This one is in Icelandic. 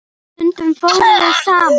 Stundum fórum við saman.